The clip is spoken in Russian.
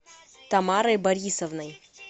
тамарой борисовной